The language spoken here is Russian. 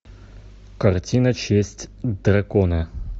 картина честь дракона